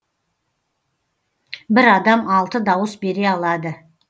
бір адам алты дауыс бере алады